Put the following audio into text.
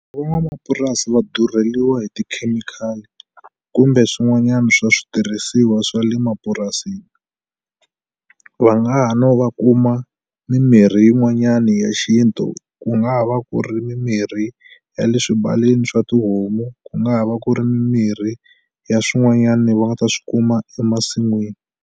Van'wamapurasi va durheliwa hi tikhemikhali kumbe swin'wanyani swa switirhisiwa swa le mapurasini va nga ha no va kuma mimirhi yin'wanyani ya xintu ku nga va ku ri mimirhi ya le swibayeni swa tihomu ku nga va ku ri mimirhi ya swin'wanyani va nga ta swi kuma emasin'wini.